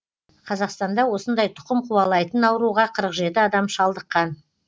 қазақстанда осындай тұқым қуалайтын ауруға қырық жеті адам шалдыққан